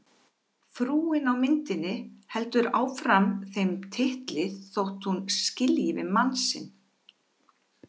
Frúin á myndinni heldur áfram þeim titli þótt hún skilji við mann sinn.